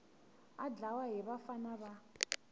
a dlawa hi vafana va